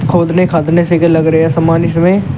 खोदने खादने से लग रहा है समान इसमें।